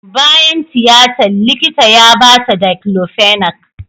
Bayan tiyatan, likita ya ba ta diclofenac.